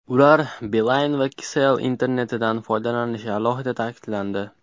Ular Beeline va Kcell internetidan foydalanishi alohida ta’kidlandi.